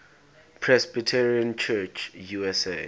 presbyterian church usa